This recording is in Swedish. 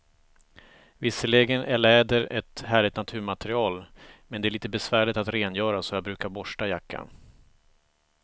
Visserligen är läder ett härligt naturmaterial, men det är lite besvärligt att rengöra, så jag brukar borsta jackan.